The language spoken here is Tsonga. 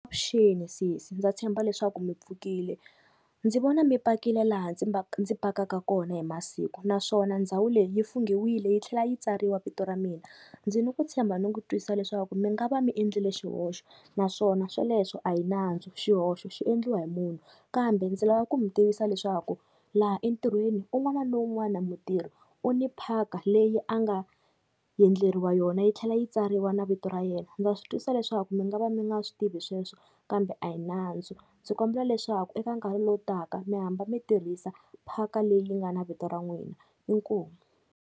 Avuxeni sesi ndza tshemba leswaku mi pfukile, ndzi vona mi pakile laha ndzi ndzi pakaka kona hi masiku naswona ndhawu leyi yi funghiwile yi tlhela yi tsariwa vito ra mina. Ndzi ni ku tshemba ni ku twisisa leswaku mi nga va mi endlile xihoxo naswona sweleswo a hi nandzu xihoxo xi endliwa hi munhu. Kambe ndzi lava ku mi tivisa leswaku laha entirhweni un'wana na un'wana mutirhi u ni phaka leyi a nga endleriwa yona yi tlhela yi tsariwa na vito ra yena, ndza swi twisisa leswaku mi nga va mi nga swi tivi sweswo kambe a hi nandzu, ndzi kombela leswaku eka nkarhi lowu taka mi hamba mi tirhisa phaka leyi yi nga na vito ra n'wina inkomu.